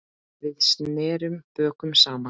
Við snerum bökum saman.